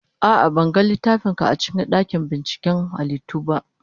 A'a, ban ga littafin ka a cikin dakin binciken halittu ba.